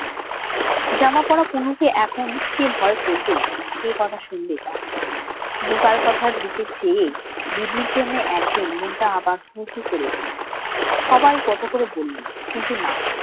জামা পড়া তনুকে এখন কে ভয় করবে? কে কথা শুনবে তার? বোকাল কথার দিকে চেয়েই দিদির জন্যে একদিন মনটা আবার হু হু করে উঠল। সবাই কত করে বললো কিন্তু না।